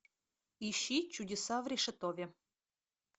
ищи чудеса в решетове